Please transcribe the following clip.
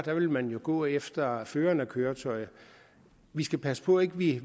ville man jo gå efter føreren af køretøjet vi skal passe på at vi